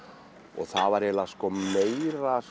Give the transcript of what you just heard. og það var orðið meira